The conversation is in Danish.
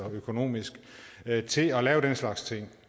økonomisk til at lave den slags ting